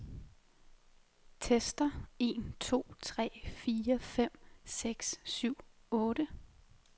Tester en to tre fire fem seks syv otte.